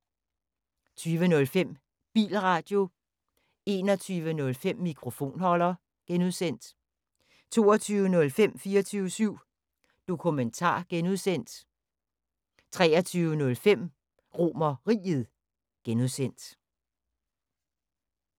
20:05: Bilradio 21:05: Mikrofonholder (G) 22:05: 24syv Dokumentar (G) 23:05: RomerRiget (G)